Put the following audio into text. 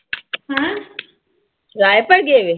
ਰਾਏਪੁਰ ਗਏ।